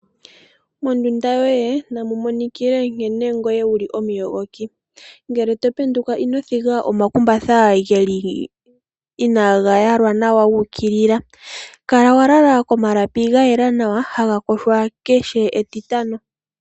Mondunda yoye namumonikile nkene ngoye wuli omuyogoki ngele topenduka inothiga omakumbatha geli, inagayalwa nawa guukilila, kala walala komalapi gayela nawa haga yogwa kehe etitano.